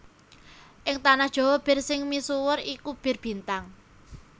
Ing tanah Jawa bir sing misuwur iku Bir Bintang